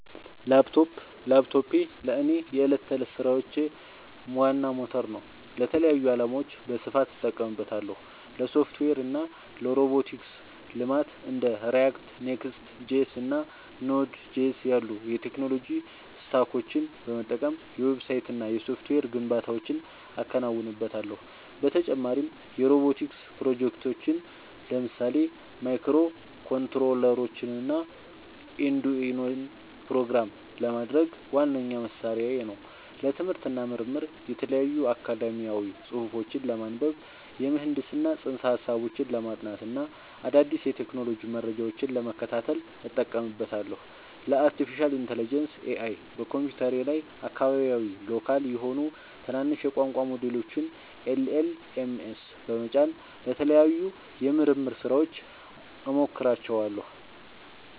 ላፕቶፕ ላፕቶፔ ለእኔ የዕለት ተዕለት ሥራዎቼ ዋና ሞተር ነው። ለተለያዩ ዓላማዎች በስፋት እጠቀምበታለሁ - ለሶፍትዌር እና ሮቦቲክስ ልማት እንደ React፣ Next.js እና Node.js ያሉ የቴክኖሎጂ ስታኮችን በመጠቀም የዌብሳይትና የሶፍትዌር ግንባታዎችን አከናውንበታለሁ። በተጨማሪም የሮቦቲክስ ፕሮጀክቶችን (ለምሳሌ ማይክሮኮንትሮለሮችንና አርዱኢኖን) ፕሮግራም ለማድረግ ዋነኛ መሣሪያዬ ነው። ለትምህርት እና ምርምር የተለያዩ አካዳሚያዊ ጽሑፎችን ለማንበብ፣ የምህንድስና ፅንሰ-ሀሳቦችን ለማጥናት እና አዳዲስ የቴክኖሎጂ መረጃዎችን ለመከታተል እጠቀምበታለሁ። ለአርቲፊሻል ኢንተለጀንስ (AI) በኮምፒውተሬ ላይ አካባቢያዊ (local) የሆኑ ትናንሽ የቋንቋ ሞዴሎችን (LLMs) በመጫን ለተለያዩ የምርምር ሥራዎች እሞክራቸዋለሁ።